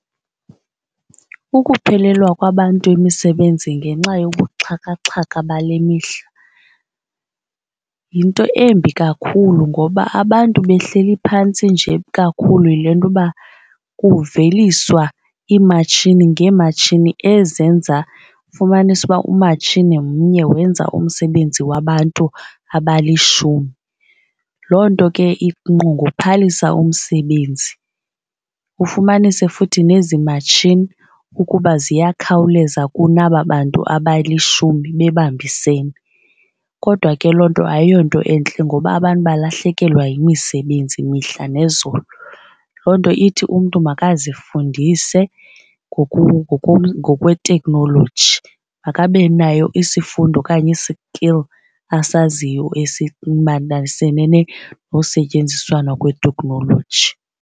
Ukuphelelwa kwabantu yimisebenzi ngenxa yobuxhakaxhaka bale mihla yinto embi kakhulu ngoba abantu behleli phantsi nje kakhulu yile nto uba kuveliswa iimatshini ngeematshini ezenza fumanise uba umatshini mnye wenza umsebenzi wabantu abalishumi. Loo nto ke ingqongophalisa umsebenzi. Ufumanise futhi nezi matshini ukuba ziyakhawuleza kunaba bantu abalishumi bebambisene. Kodwa ke loo nto ayiyonto entle ngoba abantu balahlekelwa yimisebenzi mihla nezolo. Loo nto ithi umntu makazifundise ngokweteknoloji makabe nayo isifundo okanye i-skill asaziyo esimataniselene nosetyenziswana kweteknoloji.